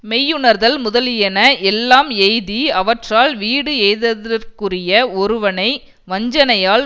மெய்யுணர்தல் முதலியன எல்லாம் எய்தி அவற்றால் வீடு எய்ததற்குரிய ஒருவனை வஞ்சனையால்